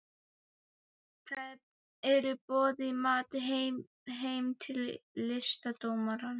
Þau eru boðin í mat heim til listdómarans